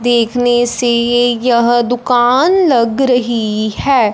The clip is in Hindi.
देखने से ये यह दुकान लग रही हैं।